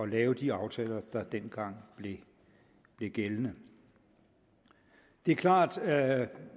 lave de aftaler der dengang blev gældende det er klart at